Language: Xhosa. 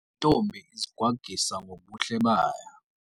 Le ntombi izigwagwisa ngobuhle bayo.